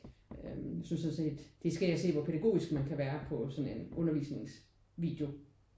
Øh jeg synes jeg har set de skal ind og se hvor pædagogisk man kan være på sådan en undervisningsvideo